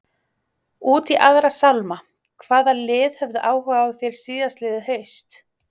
Út í aðra sálma, hvaða lið höfðu áhuga á þér síðastliðið haust?